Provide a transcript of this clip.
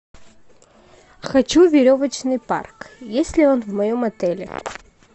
хочу веревочный парк есть ли он в моем отеле